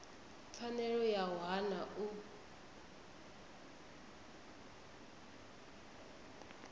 pfanelo ya u hana u